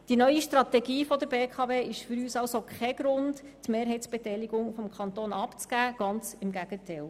Die neue Strategie der BKW ist für uns also kein Grund, die Mehrheitsbeteiligung des Kantons abzugeben, ganz im Gegenteil: